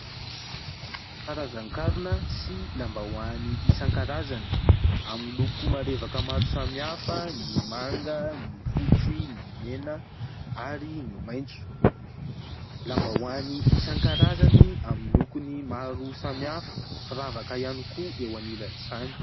Karazan-karona sy lambahoany isan-karazany amin'ny loko marevaka maro samihafa : ny manga, ny fotsy, ny mena ary ny maintso. Lambahoany isan-karazany amin'ny lokony maro samihafa, firavaka ihany koa eo anilan'izany.